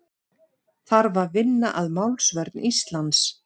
Þarf að vinna að málsvörn Íslands